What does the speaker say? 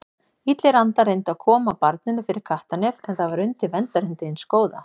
Illir andar reyndu að koma barninu fyrir kattarnef en það var undir verndarhendi hins góða.